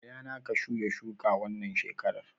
Yayana kashu ya shuka wannan shekarar.